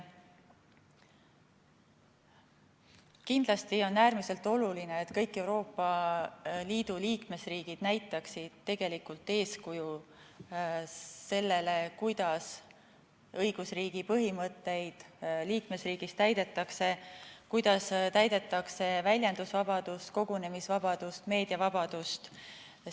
Kindlasti on äärmiselt oluline, et kõik Euroopa Liidu liikmesriigid näitaksid tegelikult eeskuju selles, kuidas õigusriigi põhimõtteid liikmesriigis täidetakse, kuidas on tagatud väljendusvabadus, kogunemisvabadus, meediavabadus jne.